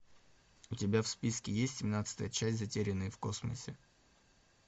у тебя в списке есть семнадцатая часть затерянные в космосе